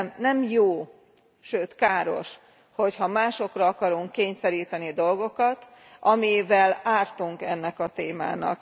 Nem jó, sőt káros, hogyha másokra akarunk kényszeríteni dolgokat, amivel ártunk ennek a témának.